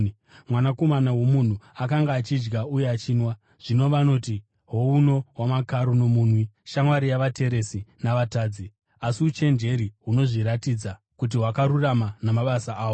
Mwanakomana woMunhu akanga achidya uye achinwa, zvino vanoti, ‘Houno wamakaro nomunwi, shamwari yavateresi na“vatadzi”.’ Asi uchenjeri hunozviratidza kuti hwakarurama namabasa ahwo.”